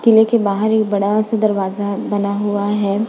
किले के बाहर एक बड़ा सा दरवाजा बना हुआ है।